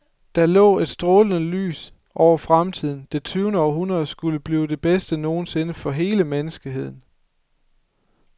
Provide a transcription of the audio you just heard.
Der lå et strålende lys over fremtiden, det tyvende århundrede skulle blive det bedste nogensinde for hele menneskeheden.